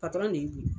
patɔrɔn de ye